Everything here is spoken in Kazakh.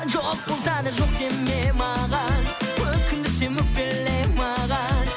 жоқ болса да жоқ деме маған өкіндірсем өкпеле маған